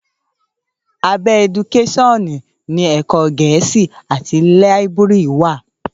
Àbẹ ẹdúkẹsíonù ni Ẹkọ gẹẹsí àtí liàbúrì wà